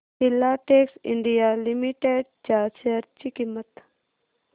Filatex India Limited च्या share ची किंमत